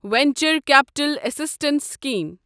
venture capital assistance scheme